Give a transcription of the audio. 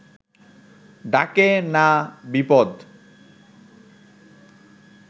ডাকে না বিপদ